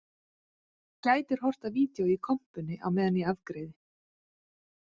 Þú gætir horft á vídeó í kompunni á meðan ég afgreiði